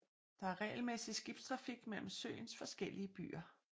Der er regelmæssig skibstrafik mellem søens forskellige byer